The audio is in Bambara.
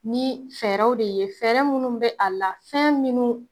Ni fɛɛrɛw de ye fɛrɛɛrɛ munnu be a la fɛn minnu